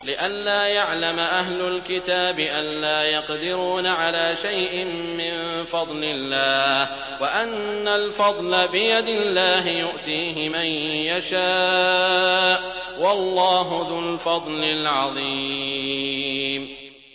لِّئَلَّا يَعْلَمَ أَهْلُ الْكِتَابِ أَلَّا يَقْدِرُونَ عَلَىٰ شَيْءٍ مِّن فَضْلِ اللَّهِ ۙ وَأَنَّ الْفَضْلَ بِيَدِ اللَّهِ يُؤْتِيهِ مَن يَشَاءُ ۚ وَاللَّهُ ذُو الْفَضْلِ الْعَظِيمِ